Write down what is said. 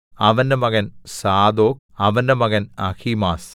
അവന്റെ മകൻ സാദോക് അവന്റെ മകൻ അഹീമാസ്